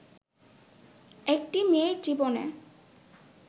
একটি মেয়ের জীবনে